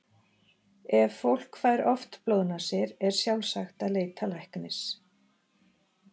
Ef fólk fær oft blóðnasir er sjálfsagt að leita læknis.